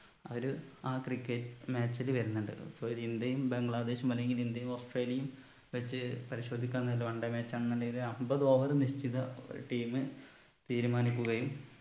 ആ ഒരു ആ cricket match ൽ വരുന്നുണ്ട് so ഒരു ഇന്ത്യയും ബംഗ്ലദേശും അല്ലങ്കിൽ ഇന്ത്യയും ഓസ്‌ട്രേലിയയും വച്ച് പരിശോധിക്കാന്നില് one day match ആന്നിണ്ടെങ്കില് അമ്പത് over നിശ്ചിത ഒരു team തീരുമാനിക്കുകയും